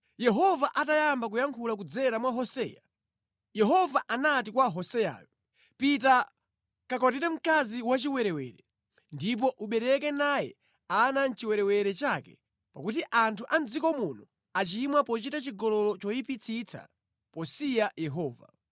Yehova atayamba kuyankhula kudzera mwa Hoseya, Yehova anati kwa Hoseyayo, “Pita kakwatire mkazi wachiwerewere ndipo ubereke naye ana mʼchiwerewere chake pakuti anthu a mʼdziko muno achimwa pochita chigololo choyipitsitsa, posiya Yehova.”